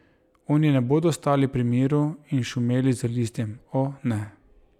Oni ne bodo stali pri miru in šumeli z listjem, o, ne.